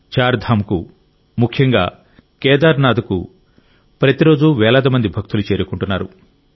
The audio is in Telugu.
చార్ధామ్కు ముఖ్యంగా కేదార్నాథ్ కు ప్రతిరోజూ వేలాది మంది భక్తులు చేరుకుంటున్నారు